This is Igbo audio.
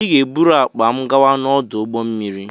Ị ga-eburu akpa m gawa n'ọdụ ụgbọ mmiri!